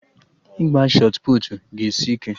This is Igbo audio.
Ịgba shọt puutu ga-esi ike